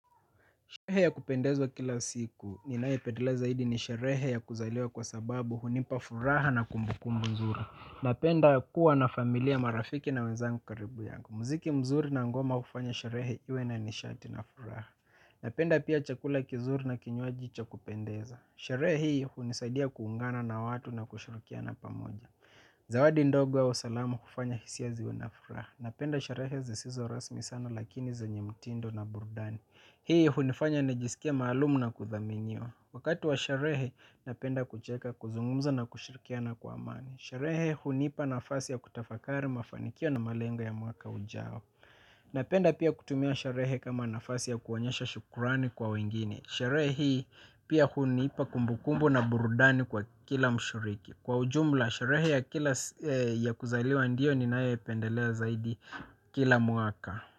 Sherehe ya kupendeza kila siku, ninayo pendelea zaidi ni sherehe ya kuzaliwa kwa sababu hunipa furaha na kumbukumbu nzuri. Napenda kuwa na familia marafiki na wezangu karibu yangu. Muziki mzuri na ngoma hufanya sherehe iwe ni nishati na furaha. Napenda pia chakula kizuri na kinywaji cha kupendeza. Sherehe hii hunisaidia kuungana na watu na kushirikiana pamoja. Zawadi ndogo wa usalamu hufanya hisia ziwe na furaha. Napenda sherehe zisizo rasmi sana lakini zenye mtindo na burudani. Hii hunifanya nijisikie maalumu na kuthaminiwa. Wakati wa sharehe napenda kucheka kuzungumza na kushirikiana kwa amani. Sherehe hunipa nafasi ya kutafakari mafanikio na malengo ya mwaka ujao. Napenda pia kutumia sherehe kama nafasi ya kuonyesha shukurani kwa wengine. Sharehe hii pia hunipa kumbukumbu na burudani kwa kila mshiriki. Kwa ujumla, sharehe ya kilas ya kuzaliwa ndio ninayoipendelea zaidi kila mwaka.